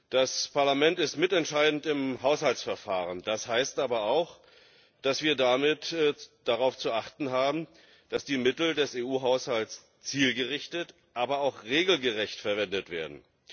Das Parlament ist mitentscheidend im Haushaltsverfahren, das heißt aber auch, dass wir damit darauf zu achten haben, dass die Mittel des EU Haushalts zielgerichtet, aber auch regelgerecht verwendet werden.